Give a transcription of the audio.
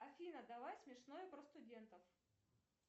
афина давай смешное про студентов